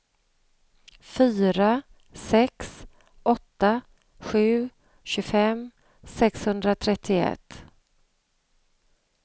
fyra sex åtta sju tjugofem sexhundratrettioett